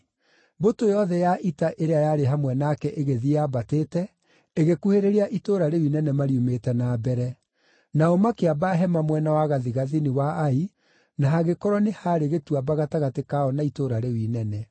Mbũtũ yothe ya ita ĩrĩa yarĩ hamwe nake ĩgĩthiĩ yambatĩte, ĩgĩkuhĩrĩria itũũra rĩu inene mariumĩte na mbere. Nao makĩamba hema mwena wa gathigathini wa Ai, na hagĩkorwo nĩ haarĩ gĩtuamba gatagatĩ kao na itũũra rĩu inene.